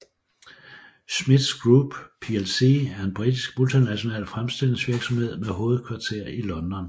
Smiths Group plc er en britisk multinational fremstillingsvirksomhed med hovedkvarter i London